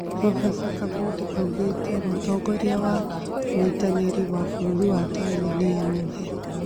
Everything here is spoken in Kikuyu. Prof. Kabudi aũgite mũtongoria wa ũnyitaniru wa bũrũri wa Tanzania Mhe